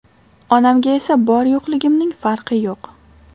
Onamga esa bor-yo‘qligimning farqi yo‘q.